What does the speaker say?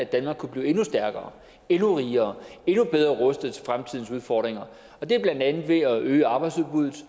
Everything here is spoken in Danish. danmark kunne blive endnu stærkere endnu rigere endnu bedre rustet til fremtidens udfordringer og det er blandt andet ved at øge arbejdsudbuddet